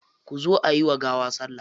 Kuzo ayi wa gawa salla.